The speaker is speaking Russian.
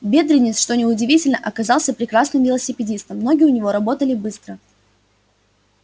бедренец что неудивительно оказался прекрасным велосипедистом ноги у него работали быстро